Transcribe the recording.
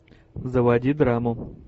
заводи драму